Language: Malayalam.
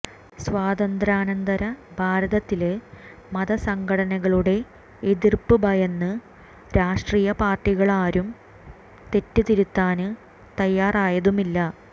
സ്വാതന്ത്ര്യാനന്തര ഭാരതത്തില് മതസംഘടനകളുടെ എതിര്പ്പ് ഭയന്ന് രാഷ്ട്രീയ പാര്ട്ടികളാരും തെറ്റ് തിരുത്താന് തയ്യാറായതുമില്ല